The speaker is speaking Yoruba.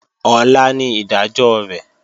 Ọ̀la ni ìdájọ́ rẹ̀